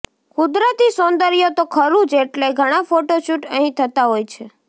કુદરતી સૌંદર્ય તો ખરું જ એટલે ઘણા ફોટો શૂટ અહીં થતા હોય છે